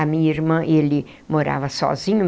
A minha irmã, ele morava sozinho.